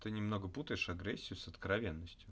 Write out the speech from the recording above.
ты немного путаешь агрессию с откровенностью